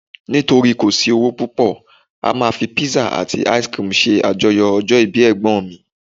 nitori kò sí owó púpò, a ma fi pizza ati ice cream se ajoyọ ọjọ ibi egbon mi